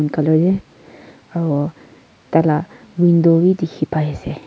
aro taila window wi dikhi pai asey.